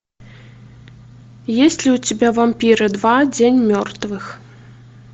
есть ли у тебя вампиры два день мертвых